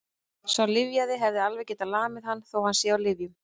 Sá lyfjaði hefði alveg getað lamið hann, þó að hann sé á lyfjum.